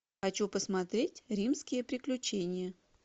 хочу посмотреть римские приключения